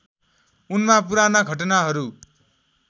उनमा पुराना घटनाहरू